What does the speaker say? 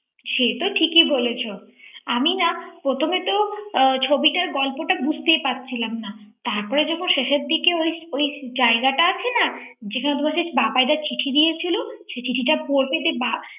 সে তো ঠিকই বলেছ আমি না প্রথমে তো ছবিটার গল্পটা বুঝতেই পারছিলাম না তারপরে যখন শেষের দিকে ওই ওই জায়গাটা আছে না যেখানে তোমার সেই বাবাইদার চিঠিটা দিয়েছিল সেই চিঠিটা পড়বে